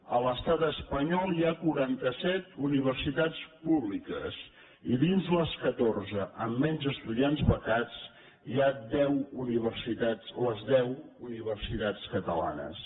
a l’estat espanyol hi ha quaranta set universitats públiques i dins les catorze amb menys estudiants becats hi ha les deu universitats catalanes